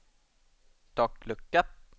taklucka